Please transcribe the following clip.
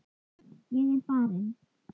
Ég er farin.